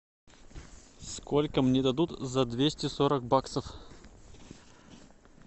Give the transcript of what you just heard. сколько мне дадут за двести сорок баксов